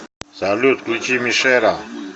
салют включи мешера